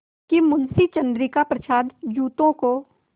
कि मुंशी चंद्रिका प्रसाद जूतों को